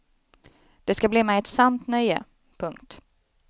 Det ska bli mig ett sant nöje. punkt